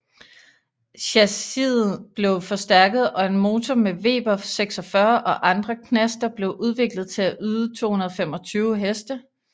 Chassiet blev forstærket og en motor med Weber 46 og andre knaster blev udviklet til at yde 225Hk